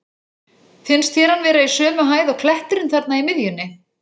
Finnst þér hann vera í sömu hæð og kletturinn þarna í miðjunni?